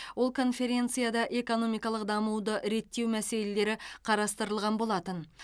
ол конференцияда экономикалық дамуды реттеу мәселелері қарастырылған болатын